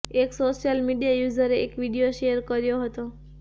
એક social media યુઝરે એક વીડિયો શેર કર્યો હતો